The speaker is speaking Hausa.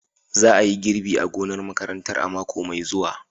Za a yi girbi a gonar makarantar a mako mai zuwa.